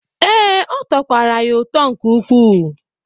Ee, ọ tọkwara ya ụtọ nke ukwu.